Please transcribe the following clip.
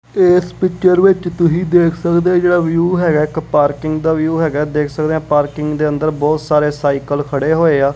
ਇਸ ਪਿਚਰ ਵਿੱਚ ਤੁਸੀਂ ਦੇਖ ਸਕਦੇ ਜਿਹੜਾ ਵਿਊ ਹੈਗਾ ਇੱਕ ਪਾਰਕਿੰਗ ਦਾ ਵਿਊ ਹੈਗਾ ਦੇਖ ਸਕਦੇ ਆ ਪਾਰਕਿੰਗ ਦੇ ਅੰਦਰ ਬਹੁਤ ਸਾਰੇ ਸਾਈਕਲ ਖੜੇ ਹੋਏ ਆ।